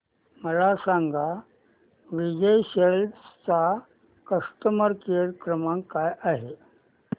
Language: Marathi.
मला सांगा विजय सेल्स चा कस्टमर केअर क्रमांक काय आहे